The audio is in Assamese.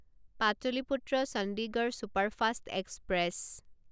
Pataliputra Chandigarh superfast express